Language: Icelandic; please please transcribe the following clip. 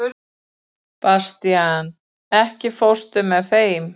Bastían, ekki fórstu með þeim?